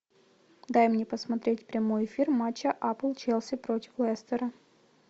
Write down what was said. дай мне посмотреть прямой эфир матча апл челси против лестера